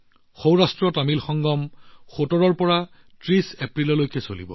সৌৰাষ্ট্ৰতামিল সংগম ১৭ ৰ পৰা ৩০ এপ্ৰিললৈ চলিব